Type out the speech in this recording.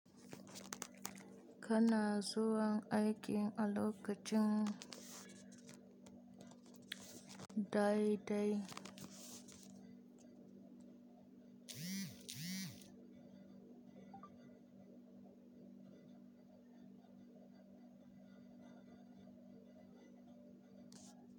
Kana zuwan aiki a lokacin dai dai.